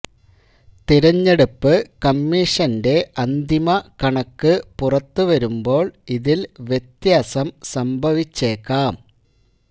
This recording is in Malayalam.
തെരഞ്ഞെടുപ്പ് കമ്മീഷന്റെ അന്തിമ കണക്ക് പുറത്ത വരുമ്പോൾ ഇതിൽ വ്യത്യാസം സംഭവിച്ചേക്കാം